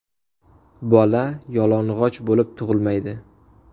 Bola yolg‘onchi bo‘lib tug‘ilmaydi.